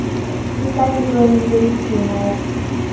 e ka letsohong le letshehadi